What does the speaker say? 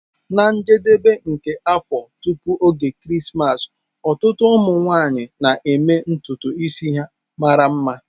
Na njedebe nke afọ, tupu oge Krismas, ọtụtụ ụmụ nwanyị na-eme ntutu isi mara mma.